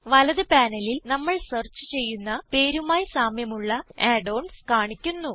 വലത് പാനലിൽ നമ്മൾ സെർച്ച് ചെയ്യുന്ന പേരുമായി സാമ്യമുള്ള add ഓൺസ് കാണിക്കുന്നു